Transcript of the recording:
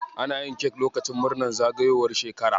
Ana yin kek lokacin murnan zagayowar shekara.